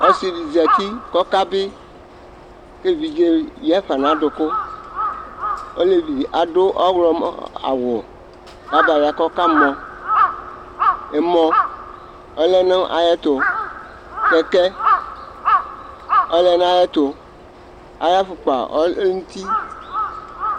Ɔsɩ dɩ zǝti kʋ ɔkabɩ ; kʋ evidze yǝfa nʋ adʋkʋ Olevi dɩ adu ɔwlɔmɔ aɣʋ kʋ abaya kʋ ɔkamɔ Ɛmɔ ɔlɛ nʋ ayʋ ɛtʋ, kɛkɛ ɔlɛ nʋ ayʋ ɛtʋ, ayʋ afukpa ɔlɛ nʋ uti